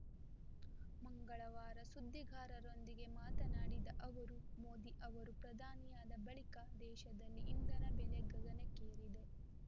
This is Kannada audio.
ಮಂಗಳವಾರ ಸುದ್ದಿಗಾರರೊಂದಿಗೆ ಮಾತನಾಡಿದ ಅವರು ಮೋದಿ ಅವರು ಪ್ರಧಾನಿಯಾದ ಬಳಿಕ ದೇಶದಲ್ಲಿ ಇಂಧನ ಬೆಲೆ ಗಗನಕ್ಕೇರಿದೆ